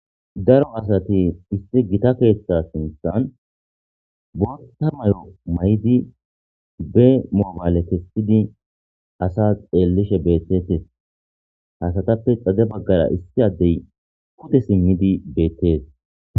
Daro asati issi Gita keththa sinththanni boththa mayo mayidd bee mobale kessidi asasi xeellishshe betetees.asatappe xade bagara issi adeyi pude simmidi betees.